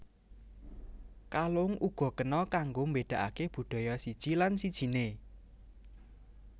Kalung uga kena kanggo mbédakaké budaya siji lan sijiné